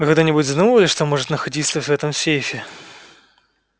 вы когда-нибудь задумывались что может находиться в этом сейфе